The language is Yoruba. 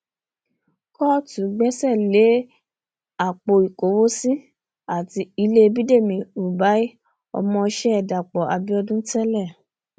kóòtù gbẹsẹ lé àpò ìkówósì àti ilé bídẹmi rúbiaì ọmọọṣẹ dàpọ abiodun tẹlẹ